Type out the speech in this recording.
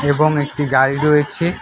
এবং একটি গাড়ি রয়েছে।